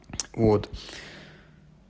вот